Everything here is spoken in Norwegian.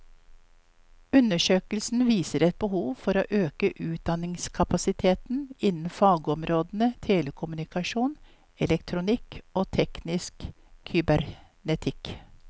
Undersøkelsen viser et behov for å øke utdanningskapasiteten innen fagområdene telekommunikasjon, elektronikk og teknisk kybernetikk.